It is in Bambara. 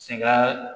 Sɛgɛn